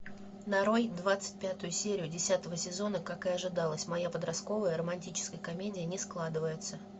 нарой двадцать пятую серию десятого сезона как и ожидалось моя подростковая романтическая комедия не складывается